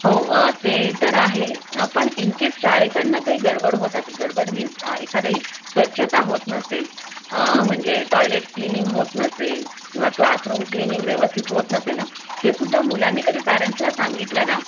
हो ते तर आहेच पण इन केस शाळे कडून जर काही गडबड होत असेल गडबड म्हणजे स्वच्छता होत नसेल म्हणजे टॉयलेट क्लीननिंग होत नसेल किंवा क्लासरूम कलेयनिंग व्यवस्थित होत नसेल ना हे सुद्धा मुलांनी कधी पेरेंट्स ला सांगितलं ना